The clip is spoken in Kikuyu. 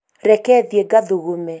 reke thiĩ ngathugume